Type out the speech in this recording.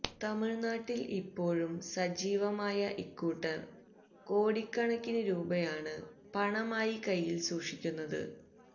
തമിഴ്നാട്ടില് ഇപ്പോഴും സജീവമായ ഇക്കൂട്ടര് കോടിക്കണക്കിന് രൂപയാണ് പണമായി കൈയില് സൂക്ഷിക്കുന്നത്